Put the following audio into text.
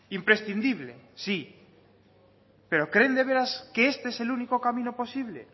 imprescindible sí pero creen de veras que este es el único camino posible